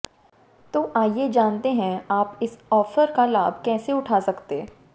तो आइये जानते हैं अप इस ऑफर का लाभ कैसे उठा सकते